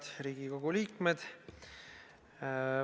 Head Riigikogu liikmed!